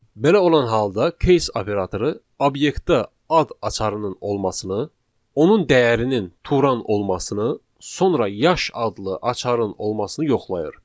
Belə olan halda case operatoru obyektdə ad açarının olmasını, onun dəyərinin Turan olmasını, sonra yaş adlı açarın olmasını yoxlayır.